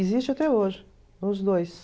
Existe até hoje, os dois.